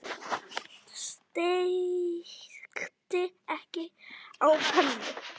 Steikti egg á pönnu.